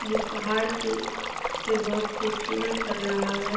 ये पहाड़ के से बहुत खूबसूरत लग रहा है।